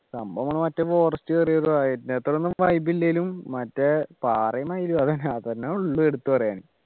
സംഭവം മറ്റേ forest കേറിയത് ആഹ് അത്രയൊന്നും vibe ഇല്ലേലും മറ്റേ പാറയും മയിലും അതെന്നെ ഉള്ളു എടുത്തു പറയാനി